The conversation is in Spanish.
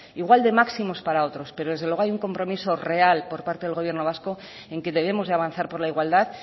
igual de máximos para otros pero desde luego hay un compromiso real por parte del gobierno vasco en que debemos de avanzar por la igualdad